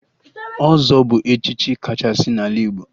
Ọzọ bụ echichi kachasị n'ala Igbo